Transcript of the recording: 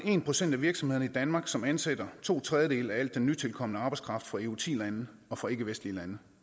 en procent af virksomhederne i danmark som ansætter to tredjedele af al den nytilkomne arbejdskraft fra eu ti lande og fra ikkevestlige lande